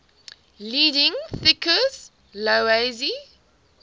leading thinkers laozi